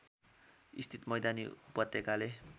स्थित मैदानी उपत्यकाले